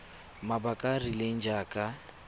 mabaka a a rileng jaaka